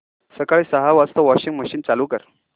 सकाळी सहा वाजता वॉशिंग मशीन चालू कर